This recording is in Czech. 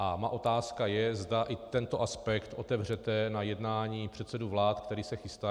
A má otázka je, zda i tento aspekt otevřete na jednání předsedů vlád, které se chystá.